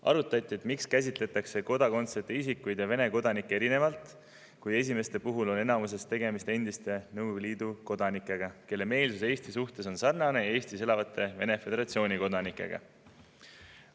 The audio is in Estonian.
Arutati, miks käsitletakse kodakondsuseta isikuid ja Vene kodanikke erinevalt, kui esimeste puhul on enamuses tegemist endiste Nõukogude Liidu kodanikega, kelle meelsus Eesti suhtes on sarnane Eestis elavate Vene föderatsiooni kodanike omaga.